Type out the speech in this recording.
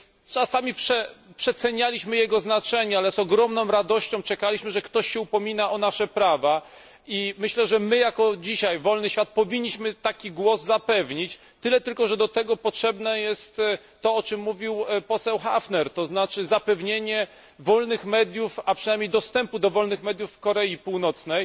Czasami przecenialiśmy jego znaczenie, ale z ogromną radością czekaliśmy, że ktoś się upomina o nasze prawa, i myślę, że my jako dzisiaj wolny świat powinniśmy taki głos dzisiaj zapewnić, tyle tylko, że do tego potrzebne jest to, o czym mówił poseł Häfner, to znaczy zapewnienie wolnych mediów, a przynajmniej dostępu do wolnych mediów w Korei Północnej.